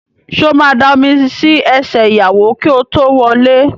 Sọ ma da omi sí ẹsẹ̀ ìyàwó kí ó tó wọlé?